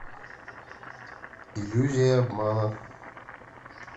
иллюзия обмана